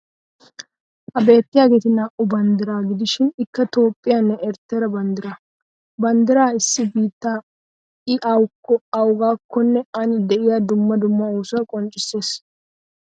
Ha beettiyaageeti naa"u banddiraa gidishin ikka Toophphiyanne erittera banddiraa. Banddira issi biitta i awakko, awugaakkonne ani de'iya dumma dumma oosuwa qonccisses.